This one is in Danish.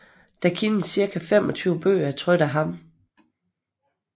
Der kendes cirka 25 bøger trykt af ham